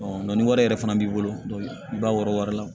ni wari yɛrɛ fana b'i bolo i b'a wɔrɔ wari la